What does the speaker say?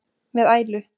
með ælu.